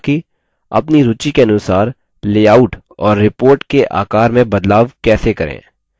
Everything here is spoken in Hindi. अपनी रूचि के अनुसार लेआउट और report के आकार में बदलाव कैसे करें